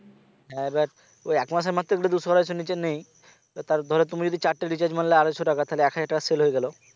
হ্যাঁ এবার ওই এক মাসের মারতে গেলে দুশো আড়াইশোর নিচে নেই তা~তার ধরো তুমি যদি চারটে recharge মারলে আড়াইশ টাকার তাহলে এক হাজার টাকা sell হয়ে গেল